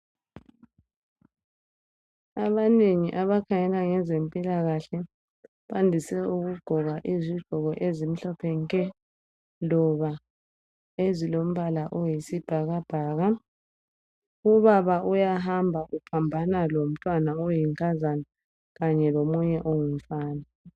Abanengi abakhangela ngezempilakahle bandise ukugqoka izigqoko ezimhlophe nke loba ezilombala oyisibhakabhaka. Ubaba laye uyahamba uphambana lomntwana oyinkazana kanye lomunye ongumfana.